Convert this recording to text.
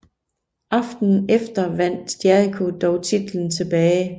Aftenen efter vandt Jericho dog titlen tilbage